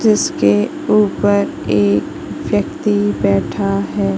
जिसके ऊपर एक व्यक्ति बैठा है।